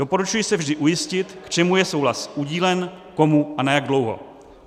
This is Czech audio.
Doporučuji se vždy ujistit, k čemu je souhlas udílen, komu a na jak dlouho.